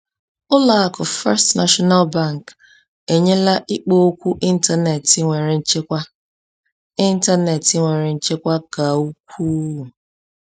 Ụlọ akụ First National Bank enyela ikpo okwu ịntanetị nwere nchekwa ịntanetị nwere nchekwa ka ukwuu.